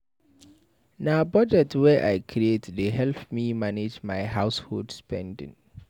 Na budget wey I create dey help me manage my household spending.